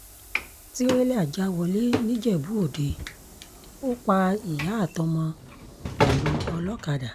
tìrẹ̀là já wọlé nìjẹ́bú-òde ó pa ìyá àtọmọ pẹ̀lú olókàdá